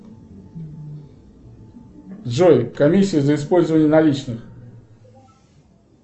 джой комиссия за использование наличных